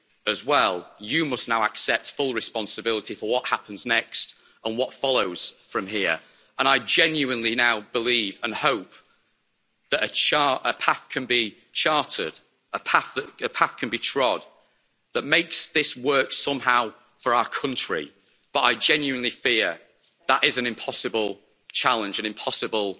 as well, you must now accept full responsibility for what happens next and what follows from here. I genuinely now believe and hope that a path can be charted, a path can be trod that makes this work somehow for our country, but I genuinely fear that is an impossible challenge, an impossible